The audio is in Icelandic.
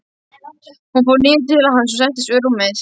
Hún fór niður til hans og settist við rúmið.